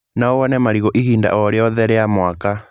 No wone marigũ ihinda o rĩothe rĩa mwaka.